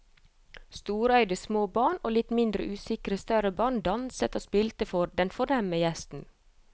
Storøyde små barn og litt mindre usikre større barn danset og spilte for den fornemme gjesten.